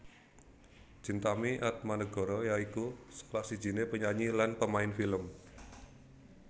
Chintami Atmanegara ya iku salah sijiné penyanyi lan pemain film